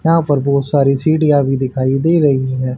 यहां पर बहुत सारी सीढ़ियां भी दिखाईं दे रहीं है।